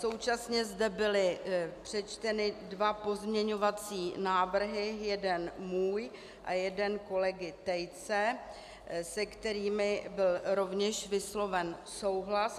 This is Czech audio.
Současně zde byly přečteny dva pozměňovací návrhy, jeden můj a jeden kolegy Tejce, se kterými byl rovněž vysloven souhlas.